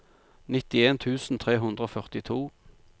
nittien tusen tre hundre og førtito